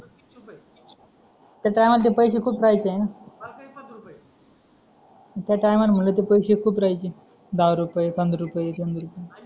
त्या टायमाला ते पैसे खूप राहायचे ना त्या टायमाला म्हटलंते पैसे खूप राहायचे दहा रुपये पंधरा रुपये तीन रुपये